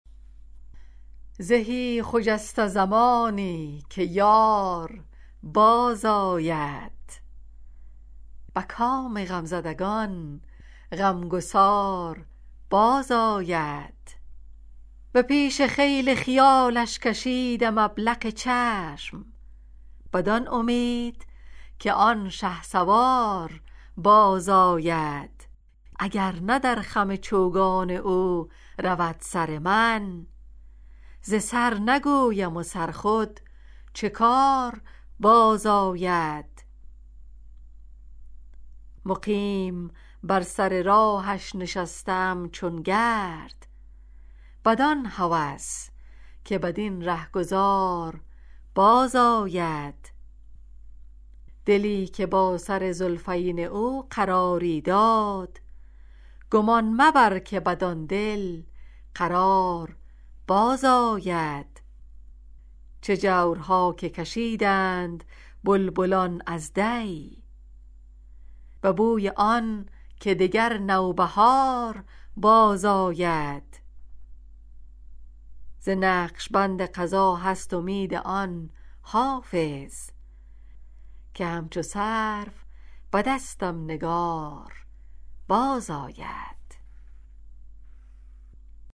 زهی خجسته زمانی که یار بازآید به کام غمزدگان غمگسار بازآید به پیش خیل خیالش کشیدم ابلق چشم بدان امید که آن شهسوار بازآید اگر نه در خم چوگان او رود سر من ز سر نگویم و سر خود چه کار بازآید مقیم بر سر راهش نشسته ام چون گرد بدان هوس که بدین رهگذار بازآید دلی که با سر زلفین او قراری داد گمان مبر که بدان دل قرار بازآید چه جورها که کشیدند بلبلان از دی به بوی آن که دگر نوبهار بازآید ز نقش بند قضا هست امید آن حافظ که همچو سرو به دستم نگار بازآید